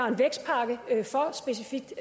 en vækstpakke specifikt